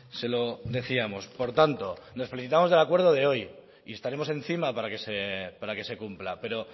se lo decíamos por tanto nos felicitamos del acuerdo de hoy y estaremos encima para que se cumpla pero